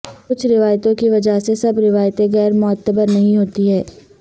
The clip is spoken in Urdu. کچھ روایتوں کی وجہ سے سب روایتیں غیر معتبر نہیں ہوتی ہیں